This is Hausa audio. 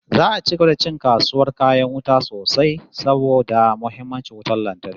Za'a ci gaba da ci kasuwar kayan wuta sosai saboda muhimmancin wutar lantarki